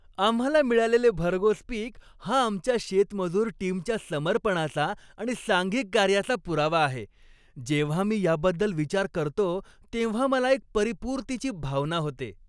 आम्हाला मिळालेले भरघोस पीक हा आमच्या शेतमजूर टीमच्या समर्पणाचा आणि सांघिक कार्याचा पुरावा आहे. जेव्हा मी याबद्दल विचार करतो तेव्हा मला एक परीपुर्तीची भावना होते.